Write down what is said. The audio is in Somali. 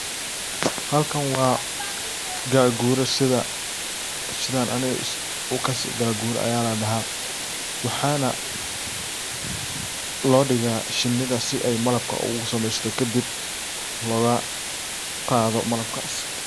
Halkan waa gagura sidhan aniga u kasi, gagura aya ladaha .Waxana lodiga shinida si ay malabka ugu samesato kadib logaqado malabkas.